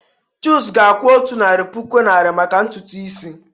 Chuks ga-akwụ otu narị puku naịra maka ntutu isi.